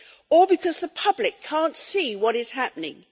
Or because the public can't see what is happening?